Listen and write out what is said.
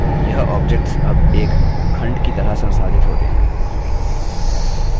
यह objects अब एक खंड की तरह संसाधित होते हैं